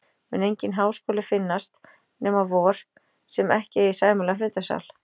Mun enginn háskóli finnast, nema vor, sem ekki eigi sæmilegan fundasal.